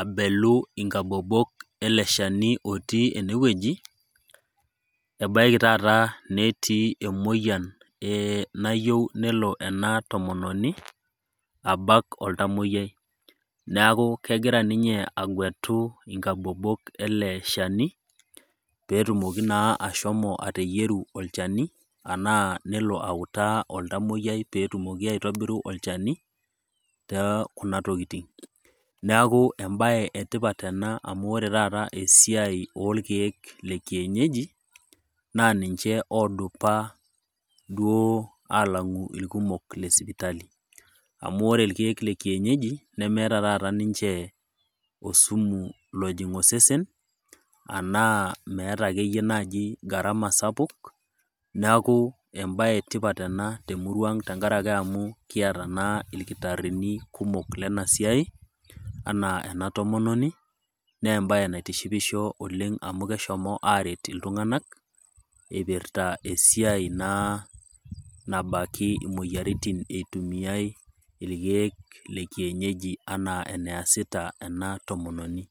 abelu ninye inkabobok taata ele shani lotii ene wueji, ebaiki taata netii emoyian nayiou nelo ena tomononi abak oltamoiyia, neaku egira ninye agwetu inkabobok ele shani, pee etumoki naa ashomo ateyieru olchani anaa peelo autaa oltamwoiyia peelo atumoki aitibiru olchani too kuna tokitin, neaku, ebaye etipat ena amu oretaata esiai olkeek le kienyeji, naa ninche duoo odup alang'u ilkumok le sipitali, amu ore ilkeek le kienyeji nemeata taata ninche osumu ojing' osesen anaa meatai naaji ake iyie gharama sapuk, neaku embaye etipat ena te emurua ang' amu kiata naa ilkitarini kumok lena siai anaa ena tomononi, naa embaye naitishipisho oleng' amu keshomoki aret iltung'anak, eipirta esiai naa nabaki imoyiaritin naa eitumiyai ilkeek le kienyeji anaa naa eneasita ena tomononi.